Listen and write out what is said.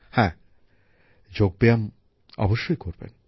হ্যাঁ যোগব্যায়াম অবশ্যই করবেন